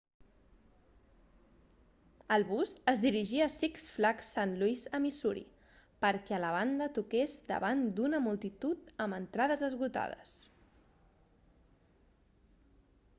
el bus es dirigia a six flags st louis a missouri perquè a la banda toqués davant d'una multitud amb entrades esgotades